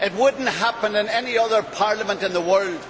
It would not happen in any other parliament in the world.